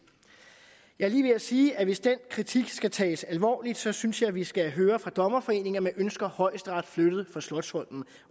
jeg er lige ved at sige at hvis den kritik skal tages alvorligt synes synes jeg at vi skal høre fra dommerforeningen at man ønsker højesteret flyttet fra slotsholmen